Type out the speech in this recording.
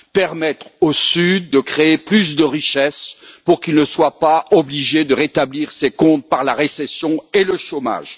Permettre au Sud de créer plus de richesses pour qu'il ne soit pas obligé de rétablir ses comptes par la récession et le chômage.